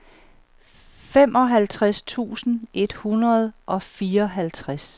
femoghalvtreds tusind et hundrede og fireoghalvtreds